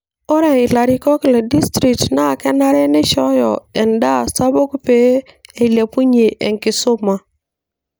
Ore ilarikok le district naa kenare neishooyo endaa sapuk pee eilepunyie enkisuma.